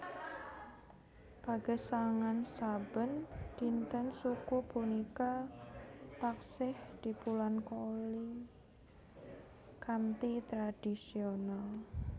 Pagesangan saben dinten suku punika taksih dipunlakoni kanthi tradhisional